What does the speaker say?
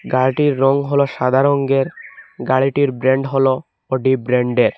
গাড়িটির রং হলো সাদা রঙ্গের গাড়িটির ব্র্যান্ড হলো অডি ব্র্যান্ডের।